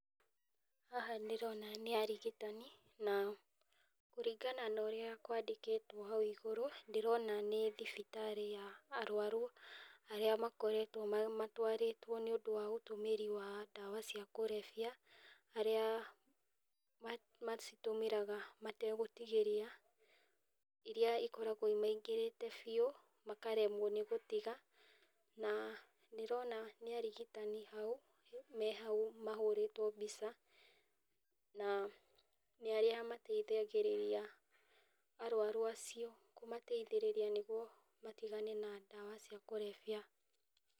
Haha ndĩrona nĩ arigitani, na kũringana na ũrĩa kwandĩkĩtwo hau igũrũ, ndĩrona nĩ thibitarĩ ya arũaru arĩa makoretwo matwarĩtwo nĩ ũndũ wa ũtũmĩri wa ndawa cia kũrebia. Arĩa macitũmĩraga matagũtigĩria, iria ikoragwo imaingĩrĩte biu, makaremwo nĩ gũtiga, na ndĩrona nĩ arigitani hau, me hau mahũrĩtwo mbica, na nĩ arĩa mateithagĩrĩria arũaru acio, kũmateithĩrĩria nĩguo matigane na ndawa cia kũrebia.